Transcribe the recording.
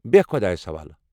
بہہ خۄدایَس حوالہ!